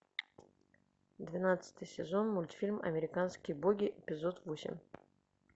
двенадцатый сезон мультфильм американские боги эпизод восемь